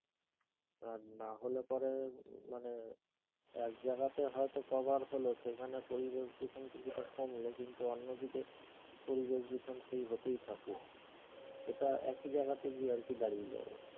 আর না হলে পরে এর মানে এক জায়গাতে হয়তো cover হলো সেখানে পরিবেশ দূষণ কিছুটা কমলো কিন্তু অন্যদিকে পরিবেশ দূষণ সে হতেই থাকলো এটা একই জায়গাতে গিয়ে আর কি দাঁড়িয়ে যাবে।